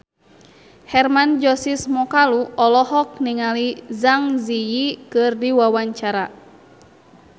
Hermann Josis Mokalu olohok ningali Zang Zi Yi keur diwawancara